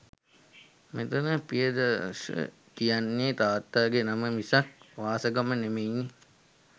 මෙතන පියදාස කියන්නේ තාත්තාගේ නම මිසක් වාසගම නෙමෙයිනේ.